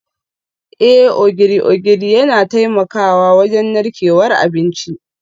Eh, Ogiri ogiri yana taimakawa wajen narkewar abinci